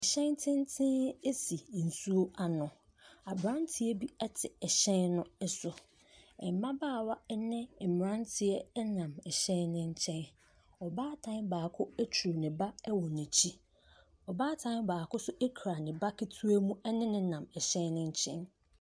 Ɛhyɛn tenten si nsuo ano. Aberanteɛ bi te ɛhyɛn no so. Mmabaawa ne mmeranteɛ nam ɛhyɛn no nkyɛn. Ɔbaatan baako aturu ne ba wɔ n'akyi. Ɔbaatan baako nso kura ne ba ketewa mu ne no nam ɛhyɛn no nkyɛn.